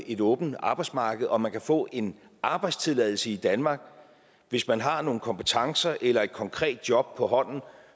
et åbent arbejdsmarked og man kan få en arbejdstilladelse i danmark hvis man har nogle kompetencer eller et konkret job på hånden